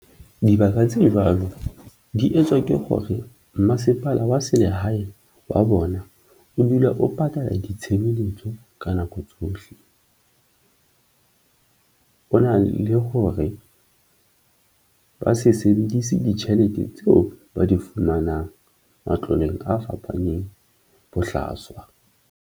Dibaka tse jwalo di etswa ke hore mmasepala wa selehae wa bona o dula o patala ditshebeletso ka nako tsohle. Ho na le hore ba se sebedise ditjhelete tseo ba di fumanang matloeng a fapaneng bohlaswa.